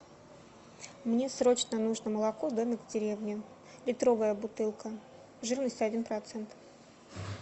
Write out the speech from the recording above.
мне срочно нужно молоко домик в деревне литровая бутылка жирность один процент